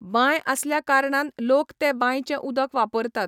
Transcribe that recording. बांय आसल्या कारणान लोक ते बांयचें उदक वापरतात.